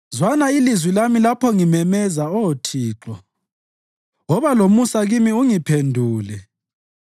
Zwana ilizwi lami lapho ngimemeza Oh Thixo; woba lomusa kimi ungiphendule.